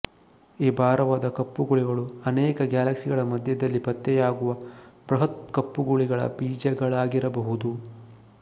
ಈ ಭಾರವಾದ ಕಪ್ಪು ಕುಳಿಗಳು ಅನೇಕ ಗ್ಯಾಲಕ್ಸಿಗಳ ಮಧ್ಯದಲ್ಲಿ ಪತ್ತೆಯಾಗುವ ಬೃಹತ್ ಕಪ್ಪುಕುಳಿಗಳ ಬೀಜಗಳಾಗಿರಬಹುದು